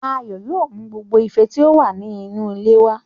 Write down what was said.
Ayọ̀ yóò mú gbogbo ife tí ó wà ní inú ilé wá